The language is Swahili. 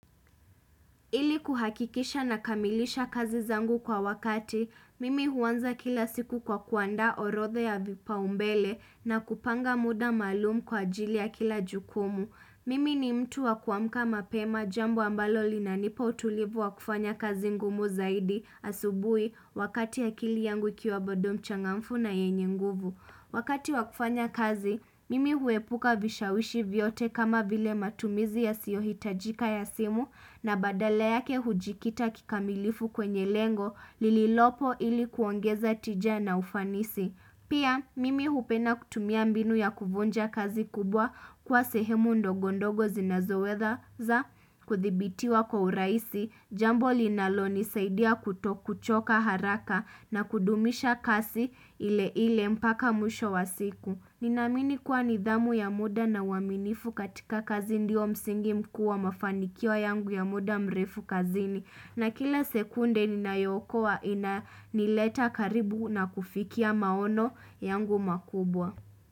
Ili kuhakikisha nakamilisha kazi zangu kwa wakati, mimi huanza kila siku kwa kuandaA orodha ya vipaumbele na kupanga muda maalum kwa ajili ya kila jukumu. Mimi ni mtu wa kuamka mapema jambo ambalo linanipa utulivu wa kufanya kazi ngumu zaidi asubuhi wakati akili yangu ikiwa bado mchangamfu na yenye nguvu. Wakati wa kufanya kazi, mimi huepuka vishawishi vyote kama vile matumizi yasiyohitajika ya simu na badala yake hujikita kikamilifu kwenye lengo lililopo ili kuongeza tija na ufanisi. Pia, mimi hupenda kutumia mbinu ya kuvunja kazi kubwa kwa sehemu ndogondogo zinazoweza kudhibitiwa kwa urahisi, jambo linalonisaidia kutokuchoka haraka na kudumisha kasi ile ile mpaka mwisho wa siku. Ninaamini kuwa nidhamu ya muda na uaminifu katika kazi ndio msingi mkuu wa mafanikio yangu ya muda mrefu kazini. Na kila sekunde ninayookoa inanileta karibu na kufikia maono yangu makubwa.